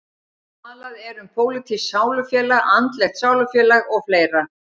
Talað er um pólitískt sálufélag, andlegt sálufélag og fleira.